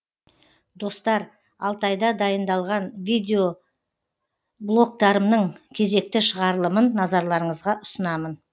достар алтайда дайындалған видеблогтарымның кезекті шығарылымын назарларыңызға ұсынамын